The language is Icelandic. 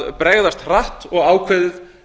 að bregðast hratt og ákveðið